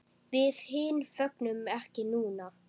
Við hin fögnum ekki núna.